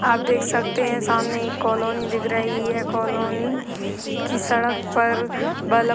आप देख सकते है सामने एक कॉलोनी दिख रही है। कॉलोनी की सड़क पर बल्ब --